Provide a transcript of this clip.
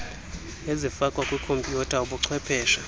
ezifakwa kwikhompiyutha ubuchwepheshe